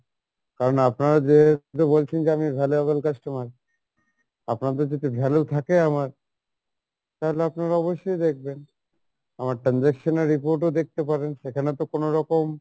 কারন আপনারা যে বলছেন যে আমি valuable customer আপনাদের যদি value থাকে আমার তাহলে আপনারা অবশ্যই দেখবেন, আমার transaction এর report ও দেখতে পারেন সেখানে তো কোনরকম